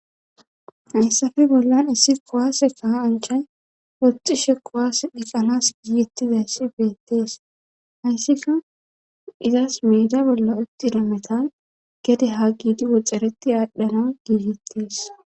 Hayssappe bollan issi kowaase kasanchay woxxishe kuwaas dheqanas giittizayssi beettees hayssika izas miida bolla uttina metan gede ha giidi woxxxareti aadhdhana giigettees.